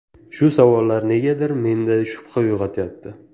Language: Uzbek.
Shu savollar negadir menda shubha uyg‘otyapti.